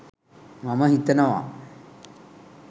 මම හිතනවා